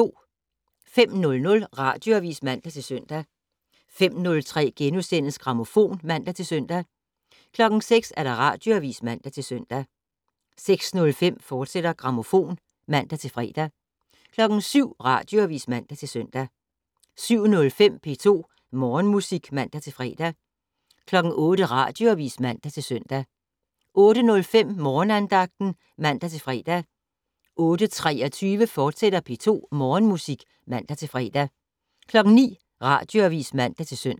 05:00: Radioavis (man-søn) 05:03: Grammofon *(man-søn) 06:00: Radioavis (man-søn) 06:05: Grammofon, fortsat (man-fre) 07:00: Radioavis (man-søn) 07:05: P2 Morgenmusik (man-fre) 08:00: Radioavis (man-søn) 08:05: Morgenandagten (man-fre) 08:23: P2 Morgenmusik, fortsat (man-fre) 09:00: Radioavis (man-søn)